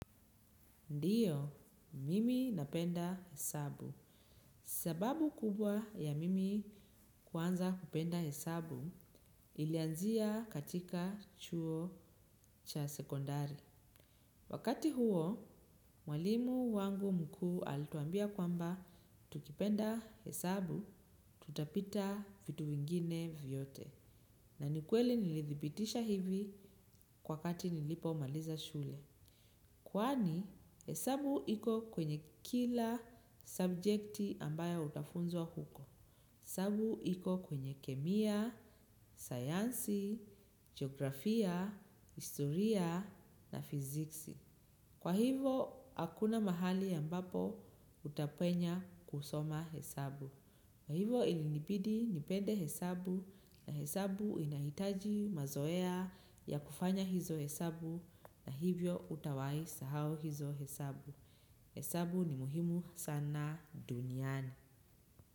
Ndiyo, mimi napenda hesabu. Sababu kubwa ya mimi kuanza kupenda hesabu ilianzia katika chuo cha sekondari. Wakati huo, mwalimu wangu mkuu alituambia kwamba tukipenda hesabu tutapita vitu vingine vyote. Na ni kweli nilithibitisha hivi kwa wakati nilipomaliza shule. Kwani, hesabu iko kwenye kila sabjekti ambayo utafunzwa huko. Hesabu iko kwenye kemia, sayansi, geografia, historia, na fiziksi. Kwa hivo, hakuna mahali ambapo utapenya kusoma hesabu. Na hivyo ilinibidi nipende hesabu na hesabu inahitaji mazoea ya kufanya hizo hesabu na hivyo hutawai sahau hizo hesabu. Hesabu ni muhimu sana duniani.